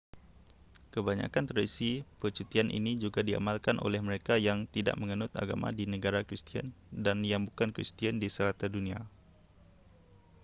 kebanyakan tradisi percutian ini juga diamalkan oleh mereka yang tidak menganut agama di negara kristian dan yang bukan kristian di serata dunia